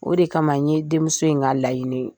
O de kama n ye denmuso in ka laɲinii